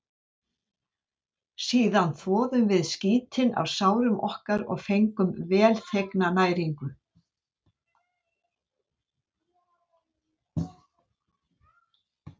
Síðan þvoðum við skítinn af sárum okkar og fengum velþegna næringu.